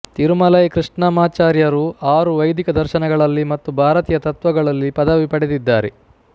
ತಿರುಮಲೈ ಕೃಷ್ಣಮಾಚಾರ್ಯರು ಆರು ವೈದಿಕ ದರ್ಶನಗಳಲ್ಲಿ ಮತ್ತು ಭಾರತೀಯ ತತ್ವಗಳಲ್ಲಿ ಪದವಿ ಪಡೆದಿದ್ದಾರೆ